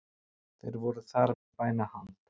Þeir voru þar við bænahald